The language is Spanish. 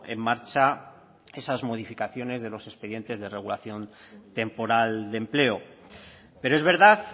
en marcha esas modificaciones de los expedientes de regulación temporal empleo pero es verdad